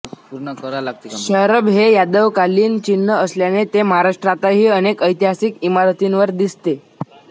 शरभ हे यादवकालीन चिन्ह असल्याने ते महाराष्ट्रातही अनेक ऐतिहासिक इमारतींवर दिसते